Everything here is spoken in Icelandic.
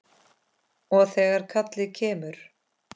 Og þegar kallið kemur.